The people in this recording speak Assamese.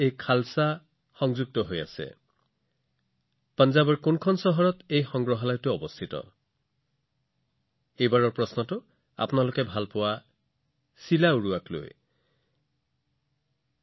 আপোনালোকে জানেনে এই সংগ্ৰহালয়টো পঞ্জাৱৰ কোনখন চহৰত আছে চিলা উৰোৱাৰ ক্ষেত্ৰত আপুনি সকলোৱে নিশ্চয় যথেষ্ট উপভোগ কৰে পৰৱৰ্তী প্ৰশ্নটো ইয়াৰ সৈতে সম্পৰ্কিত